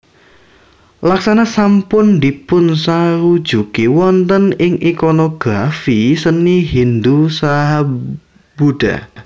Laksana sampun dipunsarujuki wonten ing ikonografi seni Hindu saha Buddha